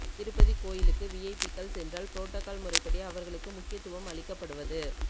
திருப்பதி கோயிலுக்கு விஐபிக்கள் சென்றால் ப்ரோட்டோகால் முறைப்படி அவர்களுக்கு முக்கியவத்துவம் அளிக்கப்படுவது